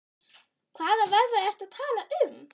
Hvaða vöðva ertu að tala um?